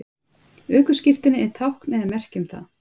ökuskírteinið er tákn eða merki um það